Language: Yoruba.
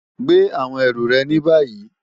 Gbè àwọn erù re ní bàyí!